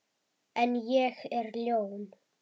En ég er ljón.